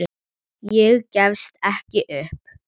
Ég gefst ekki upp.